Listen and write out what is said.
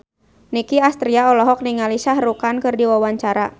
Nicky Astria olohok ningali Shah Rukh Khan keur diwawancara